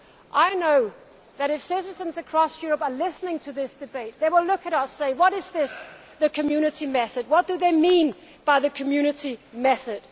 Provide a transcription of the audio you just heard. I know that if citizens across Europe are listening to this debate, they will look at us and ask what is this Community method? What do they mean by the Community method?